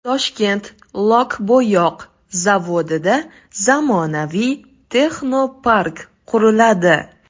Toshkent lok-bo‘yoq zavodida zamonaviy texnopark quriladi.